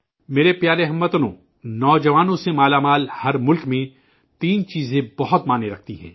میرے پیارے اہل وطن، نوجوانوں کی اکثریت والے ملک میں تین چیزیں بہت معنی رکھتی ہیں